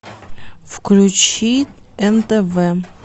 включи нтв